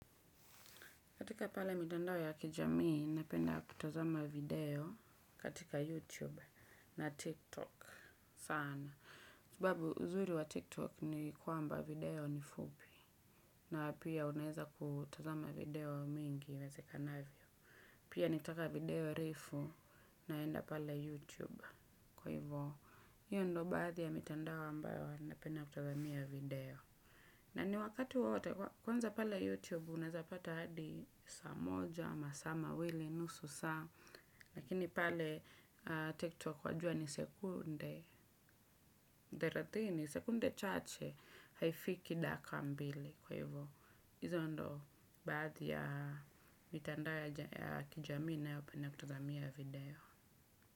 Katika pala mitandao ya kijamii, napenda kutazama video katika YouTube na TikTok sana. Sababu, uzuri wa TikTok ni kwamba video ni fupi. Na pia unaeza kutazama video mingi iwezekanavyo. Pia nikitaka video refu naenda pale YouTube. Kwa hivyo, hiyo ndo baadhi ya mitandao ambayo napenda kutazamia video. Na ni wakati wowote kwanza pale YouTube unaezapata hadi saa moja, masaa mawili, nusu saa. Lakini pale TikTok wajua ni sekunde thelathini, sekunde chache haifiki dakika mbili. Kwa hivyo. Hizo ndo baadhi ya mitandao ya kijamii ninayopenda kutazamia video.